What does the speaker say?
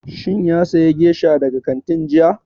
Shin ya saya gesha daga kantin jiya?